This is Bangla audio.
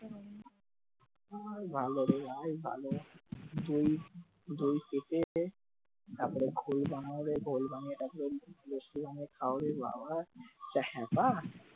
আর ভালো রে ভাই ভালো দুই কেটে তারপরে ঘোল বানাও রে তারপরে ঘোল বানিয়ে তারপরে লস্যি বানিয়ে খাও রে বাবা এত হ্যাপা